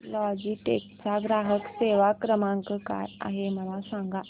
Logitech चा ग्राहक सेवा क्रमांक काय आहे मला सांगा